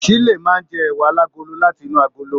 Shile máa n jẹ ẹwà alagolo láti inú agolo.